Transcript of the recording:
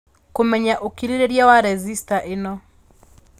Kũmenya ũkirĩrĩria wa resistor ĩno